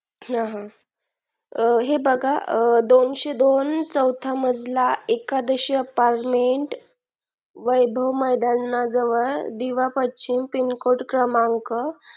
हे बघा दोनशे दोन चौथा मजला एकादशी apartment वैभव मैदानाजवळ दिवा पश्चिम pin code क्रमांक